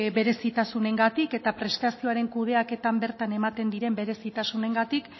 berezitasunengatik eta prestazioaren kudeaketan bertan ematen diren berezitasunengatik